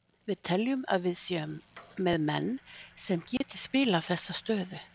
Við teljum að við séum með menn sem geti spilað þessa stöðu.